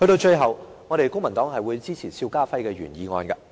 最後，公民黨支持邵家輝議員的原議案。